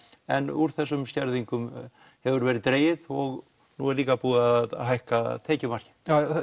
en úr þessum skerðingum hefur verið dregið og nú er líka búið að hækka tekjumarkið